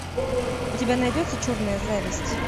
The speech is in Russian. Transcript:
у тебя найдется черная зависть